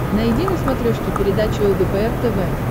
найди на смотрешке передачу лдпр тв